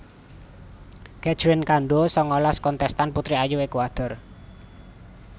Catherine Cando sangalas kontèstan putri ayu Ékuador